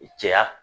Cɛya